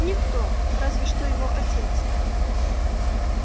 никто разве что его отец